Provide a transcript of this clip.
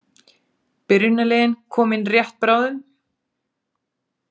Byrjunarliðin koma inn rétt bráðum.